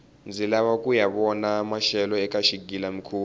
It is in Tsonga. ndzi lava kuya vona maxelo eka xigila mihkuva